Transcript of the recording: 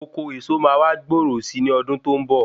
Oko eso wa ma gbòòrò sí ní ọdún tó ń bọ̀